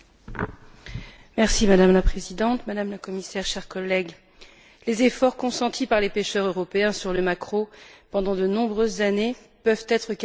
Madame la Présidente, Madame la Commissaire, chers collègues, les efforts consentis par les pêcheurs européens sur les maquereaux pendant de nombreuses années peuvent être qualifiés d'exemplaires.